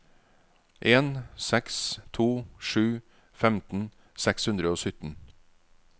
en seks to sju femten seks hundre og sytten